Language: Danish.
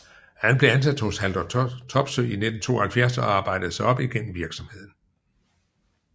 Han blev ansat Haldor Topsøe i 1972 og arbejdede sig op igennem virksomheden